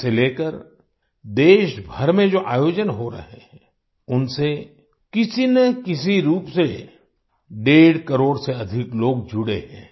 इसे लेकर देशभर में जो आयोजन हो रहे हैं उनसे किसी न किसी रूप से डेढ़ करोड़ से अधिक लोग जुड़े हैं